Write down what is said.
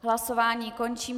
Hlasování končím.